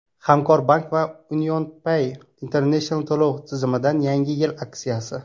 Hamkorbank va UnionPay International to‘lov tizimidan Yangi yil aksiyasi!.